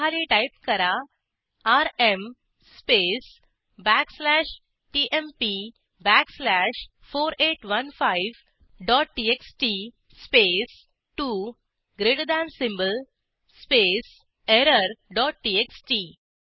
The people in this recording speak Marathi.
त्याखाली टाईप करा RM space backslash TMP backslash 4815 dot TXT space 2 greater than symbol space error dot TXT